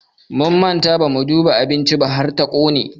Mun manta bamu duba abincin ba har ta ƙone.